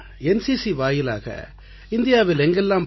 NCC வாயிலாக இந்தியாவில் எங்கெல்லாம்